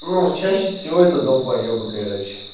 но чаще всего это долбоебы короче